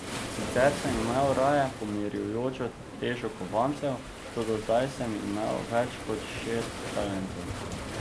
Sicer sem imel raje pomirjujočo težo kovancev, toda zdaj sem imel več kot šest talentov.